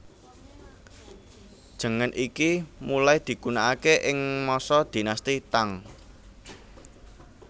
Jengen iki mulai digunaake ing masa Dinasti Tang